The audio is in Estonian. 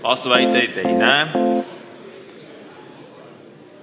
Vastuväiteid ei näe.